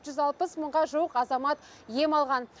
жүз алпыс мыңға жуық азамат ем алған